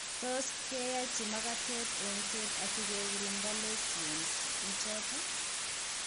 Tot keyachi makatet engset asi kegirinda lessions ichoton